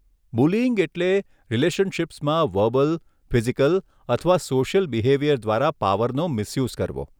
Bullying એટલે રિલેશનશીપ્સમાં verbal, physical અથવા સોશ્યલ બિહેવીયર દ્વારા પાવરનો મિસયૂઝ કરવો.